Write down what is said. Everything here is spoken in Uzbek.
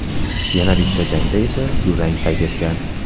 Yana bitta jangda esa durang qayd etgan.